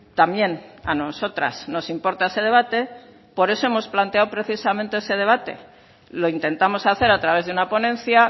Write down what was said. también a nosotras nos importa ese debate por eso hemos planteado precisamente ese debate lo intentamos hacer a través de una ponencia